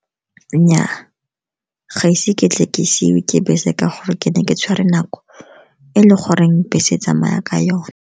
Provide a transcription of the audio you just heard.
Nnyaa, ga ise ke tle ke siwe ke bese ka gore ke ne ke tshwere nako e leng gore bese tsamaya ka yone.